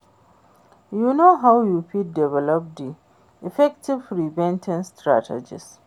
You know how you fit develop di effective prevention strategies?